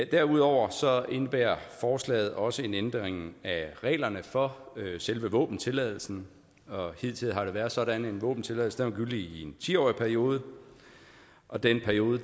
derudover indebærer forslaget også en ændring af reglerne for selve våbentilladelsen hidtil har det været sådan at en våbentilladelse var gyldig i en ti årig periode og den periode